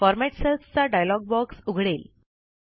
format cells चा dialog box उघडेल